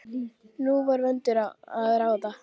Nú var úr vöndu að ráða.